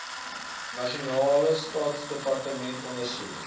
nasionale staatsdepartemente ondersoek